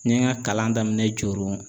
N ye n ka kalan daminɛ Joro